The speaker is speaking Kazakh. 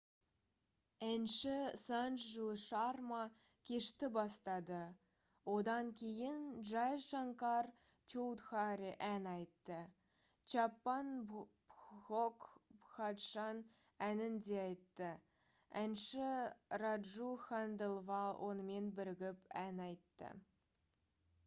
әнші санджу шарма кешті бастады одан кейін джай шанкар чоудхари ән айтты чаппан бхог бхаджан әнін де айтты әнші раджу ханделвал онымен бірігіп ән айты